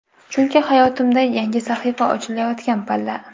Chunki hayotimda yangi sahifa ochilayotgan palla.